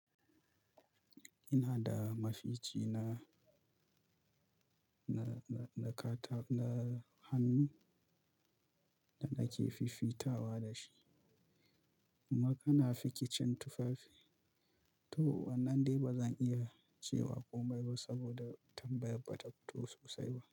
Ina da mafici na, na, na kata, na hannu da nake fiffitawa da shi. Kuma kana fikicin tufafi to wannan dai ba zan iya cewa komai ba saboda tambayar ba ta fito sosai ba.